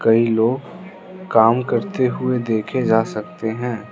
कइ लोग काम करते हुए देखे जा सकते हैं।